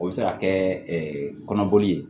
O bɛ se ka kɛ kɔnɔboli ye